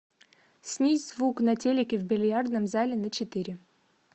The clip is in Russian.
снизь звук на телике в бильярдном зале на четыре